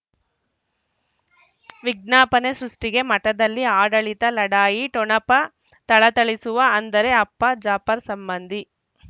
ವಿಜ್ಞಾಪನೆ ಸೃಷ್ಟಿಗೆ ಮಠದಲ್ಲಿ ಆಡಳಿತ ಲಢಾಯಿ ಠೊಣಪ ಥಳಥಳಿಸುವ ಅಂದರೆ ಅಪ್ಪ ಜಾಪರ್ ಸಂಬಂಧಿ